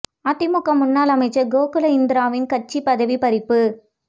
அதிமுக முன்னாள் அமைச்சர் கோகுல இந்திராவின் கட்சிப் பதவி பறிப்பு